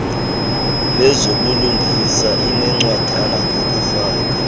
lezobulungisa linencwadana ngokufaka